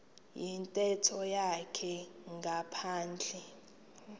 yintetho yakhe ngaphandle